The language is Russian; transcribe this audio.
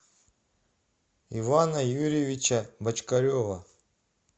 ивана юрьевича бочкарева